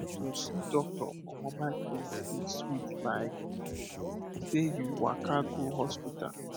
um to see doctor for mobile clinic dey sweet like say you waka go hospital